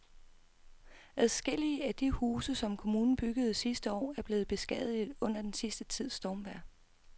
Adskillige af de huse, som kommunen byggede sidste år, er blevet beskadiget under den sidste tids stormvejr.